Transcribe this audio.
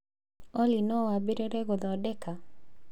Olly no wambĩrĩrie gũthondeka